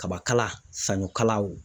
Kabakala saɲɔkalaw